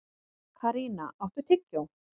Karína, áttu tyggjó?